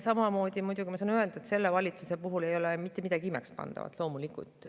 Samamoodi saan öelda, et selle valitsuse puhul ei ole siin mitte midagi imekspandavat, loomulikult.